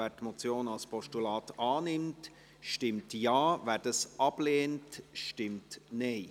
Wer die Motion als Postulat annimmt, stimmt Ja, wer dies ablehnt, stimmt Nein.